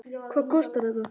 Hvað kostar þetta?